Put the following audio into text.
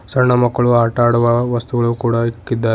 ಸಣ್ಣ ಮಕ್ಕಳು ಆಟ ಆಡುವ ವಸ್ತುಗಳು ಕೂಡ ಇಕ್ಕಿದ್ದಾರೆ.